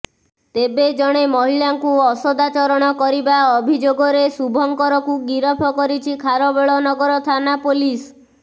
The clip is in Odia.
ତେବେ ଜଣେ ମହିଳାଙ୍କୁ ଅସଦାଚରଣ କରିବା ଅଭିଯୋଗରେ ଶୁଭଙ୍କରକୁ ଗିରଫ କରିଛି ଖାରବେଳନଗର ଥାନା ପୋଲିସ